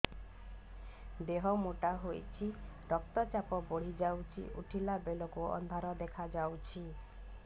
ଦେହ ମୋଟା ହେଇଯାଉଛି ରକ୍ତ ଚାପ ବଢ଼ି ଯାଉଛି ଉଠିଲା ବେଳକୁ ଅନ୍ଧାର ଦେଖା ଯାଉଛି